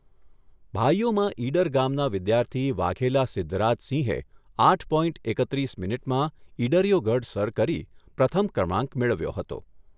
ભાઈઓમાં ઈડર ગામના વિદ્યાર્થી વાઘેલા સિદ્ધરાજસિંહે આઠ પોઇન્ટ એકત્રીસ મિનિટમાં ઈડરીયો ગઢ સર કરી પ્રથમ ક્રમાંક મેળવ્યો હતો.